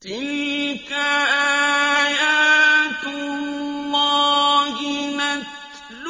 تِلْكَ آيَاتُ اللَّهِ نَتْلُوهَا